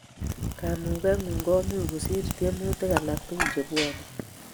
Kamugengung komuchu kosir tiemutik alak tugul che bwoni